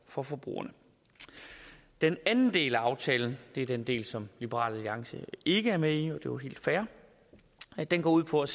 for forbrugerne den anden del af aftalen det er den del som liberal alliance ikke er med i og det jo helt fair går ud på at